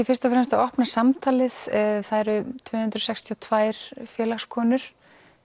fyrst og fremst það að opna samtalið það eru tvö hundruð sextíu og tvær félagskonur